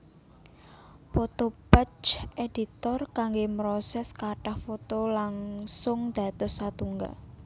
Photo Batch Editor kanggé mroses kathah foto langung dados satunggal